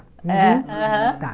É aham. Tá,